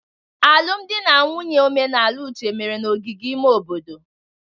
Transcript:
Alụmdi na nwunye omenala Uche mere n'ogige ime obodo.